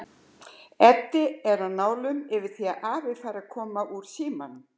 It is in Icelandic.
Edda er á nálum yfir því að afi fari að koma úr símanum.